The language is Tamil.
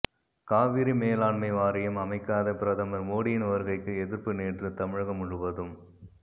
காவிரி மேலாண்மை வாரியம் அமைக்காத பிரதமர் மோடியின் வருகைக்கு எதிர்ப்பு நேற்று தமிழகம் முழுவதும்